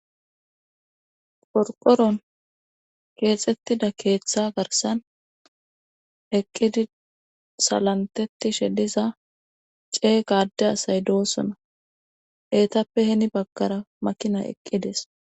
Qorqqoron keexettida keetha garssan eqqidi salenttettidhe diza ceega adde asay doosona eetappe hini baggara makinay eqqides.